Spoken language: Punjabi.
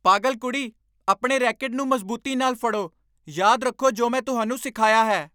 ਪਾਗਲ ਕੁੜੀ, ਆਪਣੇ ਰੈਕੇਟ ਨੂੰ ਮਜ਼ਬੂਤੀ ਨਾਲ ਫੜੋ ਯਾਦ ਰੱਖੋ ਜੋ ਮੈਂ ਤੁਹਾਨੂੰ ਸਿਖਾਇਆ ਹੈ